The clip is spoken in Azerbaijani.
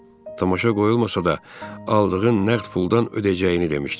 Tamaşa qoyulmasa da, aldığın nəqd puldan ödəyəcəyini demişdin.